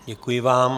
Děkuji vám.